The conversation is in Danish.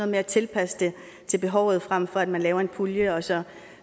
med at tilpasse det til behovet frem for at man laver en pulje og så